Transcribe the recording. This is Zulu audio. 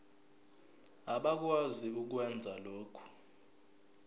abakwazi ukwenza lokhu